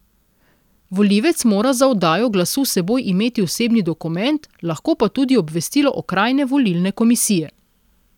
Volivec mora za oddajo glasu s seboj imeti osebni dokument, lahko pa tudi obvestilo okrajne volilne komisije.